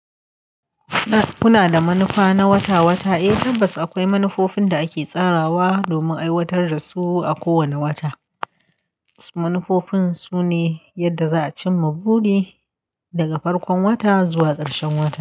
Kuna da manufa na wata-wata, eh tabbas akwai manufofin da ake tsarawa domin aiwatar da su a kowane wata. Wasu manufofin sune yadda za a cimma buri daga farkon wata zuwa ƙarshen wata.